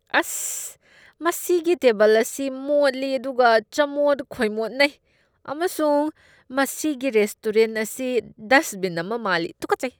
ꯑꯁ! ꯃꯁꯤꯒꯤ ꯇꯦꯕꯜ ꯑꯁꯤ ꯃꯣꯠꯂꯤ ꯑꯗꯨꯒ ꯆꯃꯣꯠ ꯈꯣꯏꯃꯣꯠꯅꯩ ꯑꯃꯁꯨꯡ ꯃꯁꯤꯒꯤ ꯔꯦꯁꯇꯣꯔꯦꯟꯠ ꯑꯁꯤ ꯗꯁꯠꯕꯤꯟ ꯑꯃ ꯃꯥꯜꯂꯤ, ꯇꯨꯀꯠꯆꯩ!